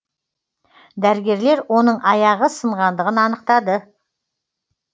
дәрігерлер оның аяғы сынғандығын анықтады